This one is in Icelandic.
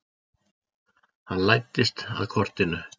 Hann læddist að kortinu.